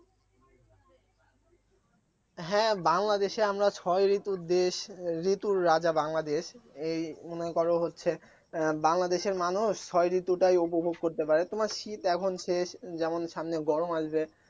হ্যাঁ বাংলাদেশে আমরা ছয় ঋতুর দেশ ঋতুর রাজা বাংলাদেশ এই মনে করো হচ্ছে আহ বাংলাদেশের মানুষ ছয় ঋতুটাই উপভোগ করতে পারে তোমার শীত এখন শেষ যেমন সামনে গরম আসবে